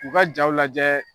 U ka jaw lajɛ